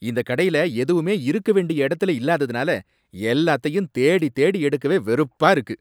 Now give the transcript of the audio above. இந்த கடையில எதுவுமே இருக்க வேண்டிய இடத்துல இல்லாததுனால எல்லாத்தையும் தேடித் தேடி எடுக்கவே வெறுப்பா இருக்கு.